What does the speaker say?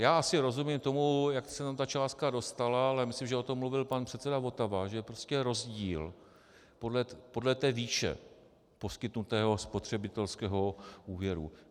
Já asi rozumím tomu, jak se tam ta částka dostala, ale myslím, že o tom mluvil pan předseda Votava, že je prostě rozdíl podle té výše poskytnutého spotřebitelského úvěru.